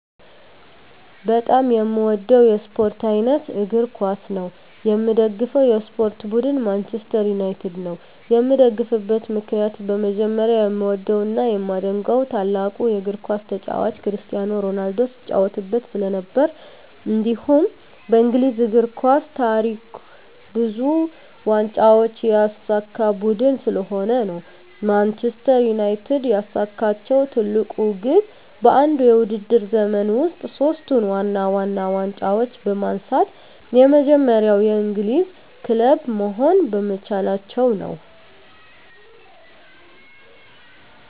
በጣም የምዎደው የስፖርት አይነት እግር ኳስ ነው። የምደግፈው የስፖርት ቡድን ማንችስተር ዩናይትድ ነው። የምደግፍበት ምክንያት በመጀመሪያ የምዎደው እና የማደንቀው ታላቁ የግር ኳስ ተጫዋች ክርስቲያኖ ሮናልዶ ሲጫዎትበት ስለነበር። እንዲሁም በእንግሊዝ የእግር ኳስ ታሪክ ብዙ ዋንጫዎችን ያሳካ ቡድን ስለሆነ ነው። ማንችስተር ዩናይትድ ያሳካችው ትልቁ ግብ በአንድ የውድድር ዘመን ውስጥ ሶስቱን ዋና ዋና ዋንጫዎች በማንሳት የመጀመሪያው የእንግሊዝ ክለብ መሆን በመቻላቸው ነው።